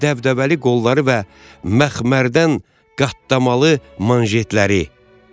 Və dəbdəbəli qolları və məxmərdən qatlamalı manjetləri.